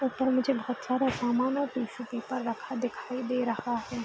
यहां पर मुझे बहुत सारा सामान और टिशू पेपर रखा दिखाई दे रहा है।